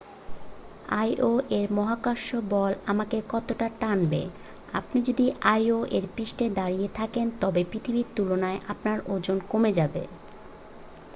আইও-এর মহাকর্ষ বল আমাকে কতটা টানবে আপনি যদি আইও-এর পৃষ্ঠে দাঁড়িয়ে থাকেন তবে পৃথিবীর তুলনায় আপনার ওজন কমে যাবে